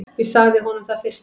Ég sagði honum það fyrstum.